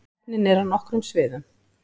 Keppnin er á nokkrum sviðum